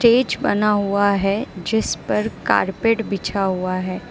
Stage बना हुआ है जिस पर कारपेट बिछा हुआ है।